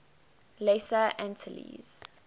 lesser antilles